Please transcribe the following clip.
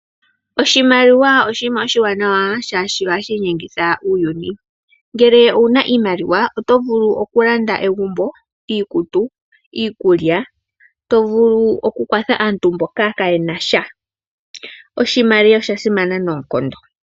Oshimaliwa oshinima oshiwanawa shaashi ohashi inyengitha uuyuni. Ngele owuna iimaliwa oto vulu okulanda egumbo, iikutu, iikulya, tovulu wo oku kwatha aantu mboka kaa yenasha. Oshimaliwa osha simana noonkondo.